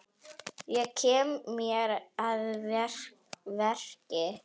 Ég kem mér að verki.